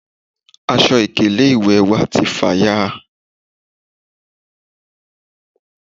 aṣọ ìkélé ìwè wa ti fàya à